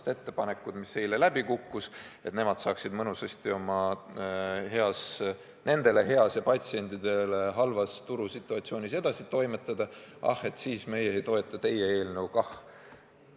Me ei toetanud seda, et hulgimüüjad saaksid mõnusasti nendele heas ja patsientidele halvas turusituatsioonis edasi toimetada, ja nüüd nemad ei toeta meie eelnõu kah.